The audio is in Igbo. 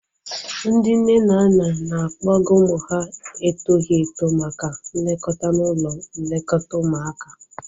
Ndị nne na nna na-akpọga ụmụ ha etoghi eto maka nlekọta n'ụlọ nlekọta ụmụaka